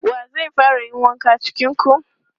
Wa zai fara yin wanka cikin ku?